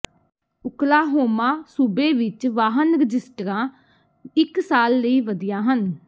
Oklahoma ਸੂਬੇ ਵਿੱਚ ਵਾਹਨ ਰਜਿਸਟਰਾਂ ਇੱਕ ਸਾਲ ਲਈ ਵਧੀਆ ਹਨ